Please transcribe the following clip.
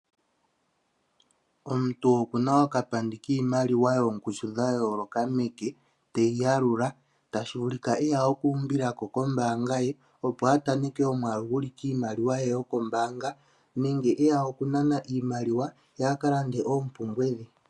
Omuntu oku na okapandi kiimaliwa yoongushu dha yoolokathana meke teyi yalula tashi vulika e ya okuumbilako kombaanga ye, opo a taneke omwaalu gu li kiimaliwa ye yokombaanga ye, nenge e ya okunana ko iimaliwa ye a ka lande oompumbwe dhe.